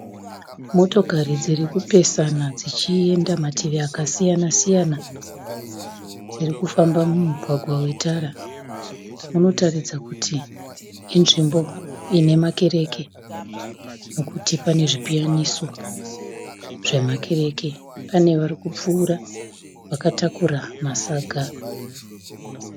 Motokari dziri kupesana dzichienda mativi akasiyana siyana dziri kufamba mumugwagwa wetara. Munotaridza kuti inzvimbo inemakereke nekuti pane zvipiyaniso zvemakereke. Pane vari kupfuura vakatakura masaga .